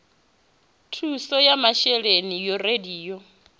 thuso ya masheleni yo raliho